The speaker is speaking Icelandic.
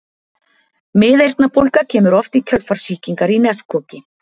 miðeyrnabólga kemur oft í kjölfar sýkingar í nefkoki